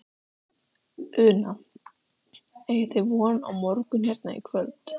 Una: Eigið þið von á morgun hérna í kvöld?